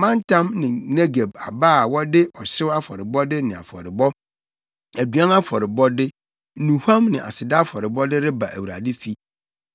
mantam ne Negeb aba a wɔde ɔhyew afɔrebɔde ne afɔrebɔ, aduan afɔrebɔde, nnuhuam ne aseda afɔrebɔde reba Awurade fi.